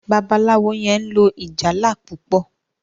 Babalawo yen lò ìjálá púpọ.